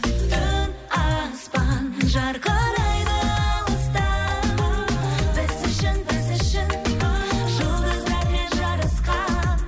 түн аспан жарқырайды алыстан біз үшін біз үшін жұлдыздармен жарысқан